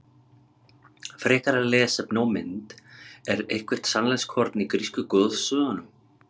Frekara lesefni og mynd Er eitthvert sannleikskorn í grísku goðsögunum?